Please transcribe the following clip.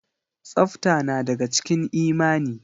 Tsafta na daga cikin imani.